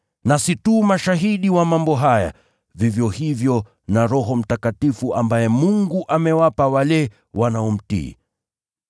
Nasi tu mashahidi wa mambo haya, vivyo hivyo na Roho Mtakatifu ambaye Mungu amewapa wale wanaomtii.”